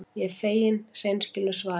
Ég er fegin hreinskilnu svarinu.